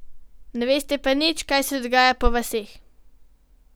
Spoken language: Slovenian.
Ne veste pa nič, kaj se dogaja po vaseh.